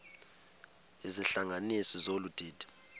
izihlanganisi zolu didi